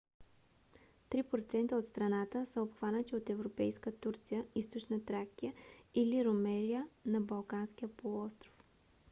три процента от страната са обхванати от европейска турция източна тракия или румелия на балканския полуостров